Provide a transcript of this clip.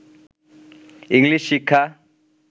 English শিক্ষা